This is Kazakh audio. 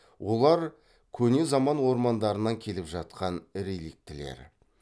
олар көне заман ормандарынан келіп жатқан реликтілер